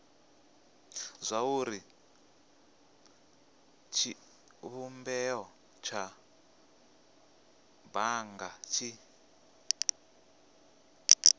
zwauri tshivhumbeo tsha bannga tshi